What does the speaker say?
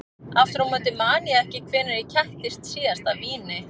Aftur á móti man ég ekki hvenær ég kættist síðast af víni.